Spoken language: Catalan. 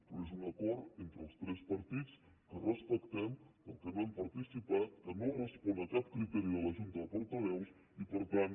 però és un acord entre els tres partits que respectem però en què no hem participat que no respon a cap criteri de la junta de portaveus i per tant